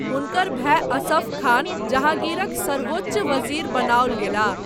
हुनकर भाय असफ खान जहाँगीरक सर्वोच्च वजीर बनाओल गेलाह।